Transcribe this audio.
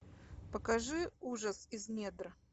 покажи ужас из недр